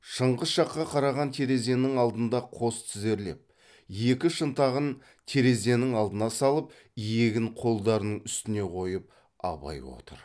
шыңғыс жаққа қараған терезенің алдында қос тізерлеп екі шынтағын терезенің алдына салып иегін қолдарының үстіне қойып абай отыр